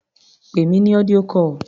Pè mí ní audio call.